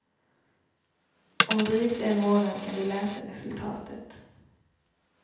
Om drygt en månad kan du läsa resultatet.